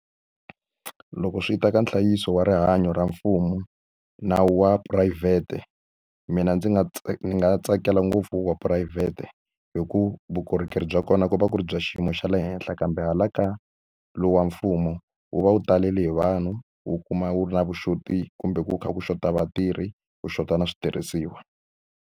Loko swi ta ka nhlayiso wa rihanyo ra mfumo na wa wa phurayivhete mina ni nga ni nga tsakela ngopfu wa phurayivhete hi ku vukorhokeri bya kona ku va ku ri bya xiyimo xa le henhla kambe hala ka lowu wa mfumo wu va wu talele hi vanhu wu kuma wu ri na vu xoti kumbe ku kha ku xota vatirhi ku xota na switirhisiwa.